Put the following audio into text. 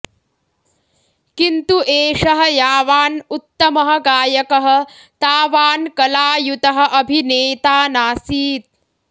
किन्तु एषः यावान् उत्तमः गायकः तावान् कलायुतः अभिनेता नासीत्